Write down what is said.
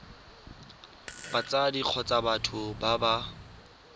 batsadi kgotsa batho ba ba